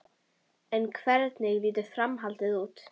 En hvernig lítur framhaldið út?